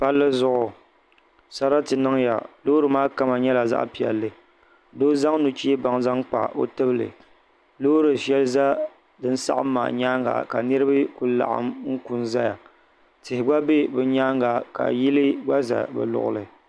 Palli zuɣu sarati niŋya loori maa kama nyɛla zaɣa piɛlli doo zaŋ nuchee baŋ zaŋkpa o tibli loori sheli za dinsaɣim maa nyaanga ka niriba kuli laɣim n ku n zaya tihi gb. be bɛ nyaanga ka yili gba za bɛ luɣuli.